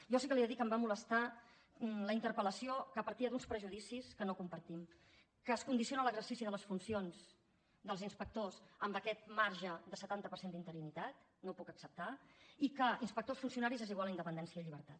jo sí que li he de dir que em va molestar la interpellació que partia d’uns prejudicis que no compartim que es condiciona l’exercici de les funcions dels inspectors amb aquest marge de setanta per cent d’interinitat no ho puc acceptar i que inspectors funcionaris és igual a independència i llibertat